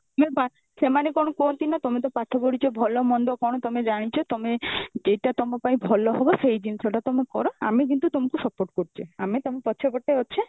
ସିଏ ବା ସେମାନେ କଣ କୁହନ୍ତି ନା ତମେ ତ ପାଠ ପଢିଛ ଭଲ ମନ୍ଦ କଣ ତମେ ଜାଣିଛ ତମେ ଯେଇଟା ତମ ପାଇଁ ଭଲ ହବ ସେଇ ଜିନିଷ ଟା ତମେ କର ଆମେ କିନ୍ତୁ ତମକୁ support କରୁଚେ ଆମେ ତମ ପଛପଟେ ଅଛେ